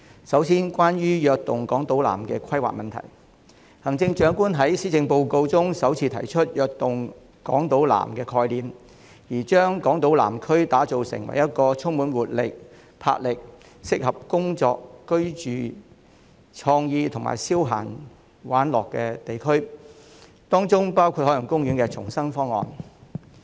首先，關於"躍動港島南"的規劃，行政長官在施政報告中首次提出"躍動港島南"的概念，將港島南區打造成一個充滿活力、魄力，適合工作、居住、具創意及消閒玩樂的地區，當中包括海洋公園的重生方案。